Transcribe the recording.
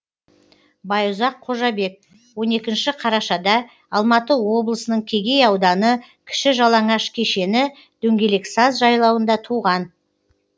байұзақ қожабек он екінші қарашада алматы облысының кегей ауданы кіші жалаңаш кешені дөңгелексаз жайлауында туған